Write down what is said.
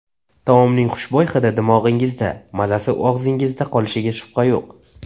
Taomning xushbo‘y hidi dimog‘ingizda, mazasi og‘zingizda qolishiga shubha yo‘q.